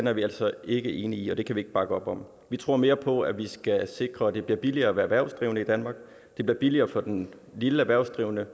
er vi altså ikke enige i er brugbart det kan vi ikke bakke op om vi tror mere på at vi skal sikre at det bliver billigere at være erhvervsdrivende i danmark at det bliver billigere for den lille erhvervsdrivende